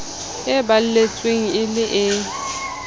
e balletsweng e le e